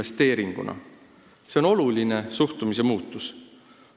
See on oluline suhtumise muutus.